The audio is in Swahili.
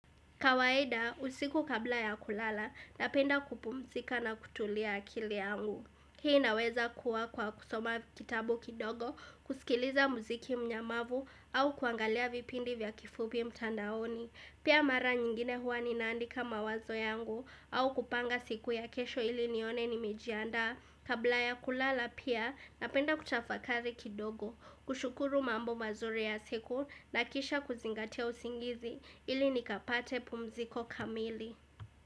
Kawaida, usiku kabla ya kulala, napenda kupumzika na kutulia akili yangu. Hii naweza kuwa kwa kusoma kitabu kidogo, kusikiliza muziki mnyamavu, au kuangalia vipindi vya kifupi mtandaoni. Pia mara nyingine huwa ninaandika mawazo yangu, au kupanga siku ya kesho ili nione nimejianda. Kabla ya kulala pia, napenda kutafakari kidogo kushukuru mambo mazuri ya siku na kisha kuzingatia usingizi ili nikapate pumziko kamili.